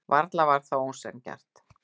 Varla var það ósanngjarnt.